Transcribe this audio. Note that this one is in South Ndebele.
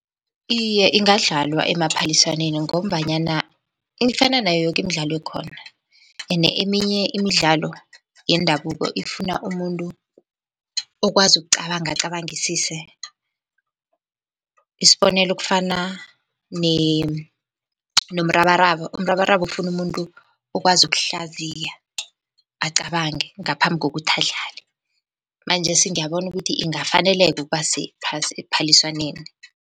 Iye, ingadlalwa emaphaliswaneni ngombanyana ifana nayo yoke imidlalo ekhona, ene eminye imidlalo yendabuko ifuna umuntu okwazi ukucabanga acabangisise. Isibonelo, kufana nomrabaraba, umrabaraba ufuna umuntu okwazi ukuhlaziya, acabange ngaphambi kokuthi adlale. Manjesi ngiyabona ukuthi ingafaneleka ukuba sephaliswaneni.